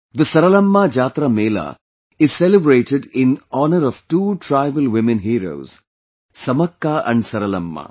The Saralamma Jatara Mela is celebrated in honor of two tribal women heores Samakka and Saralamma